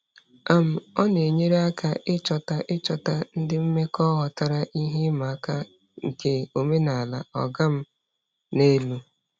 um Ọ na-enyere aka ịchọta ịchọta ndị mmekọ ghọtara ihe ịma aka nke omenala "ọga m n'elu".